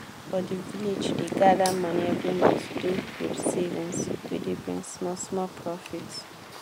for the village dey gather money every month do group savings wey dey bring small small profit.